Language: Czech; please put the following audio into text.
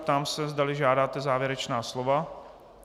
Ptám se, zdali žádáte závěrečná slova.